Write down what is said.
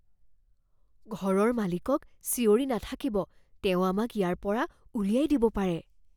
ঘৰৰ মালিকক চিঞৰি নাথাকিব। তেওঁ আমাক ইয়াৰ পৰা উলিয়াই দিব পাৰে।